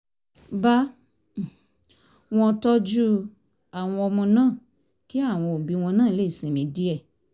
bá um wọn tọ́jú àwọn ọmọ náà kí àwọn òbí náà lè sinmi díẹ̀